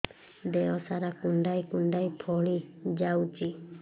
ଦେହ ସାରା କୁଣ୍ଡାଇ କୁଣ୍ଡାଇ ଫଳି ଯାଉଛି